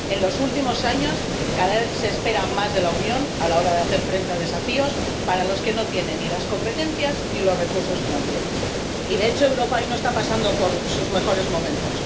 En los últimos años, cada vez se espera más de la Unión a la hora de hacer frente a desafíos para los que no tiene ni las competencias ni los recursos financieros y, de hecho, Europa hoy no está pasando por sus mejores momentos.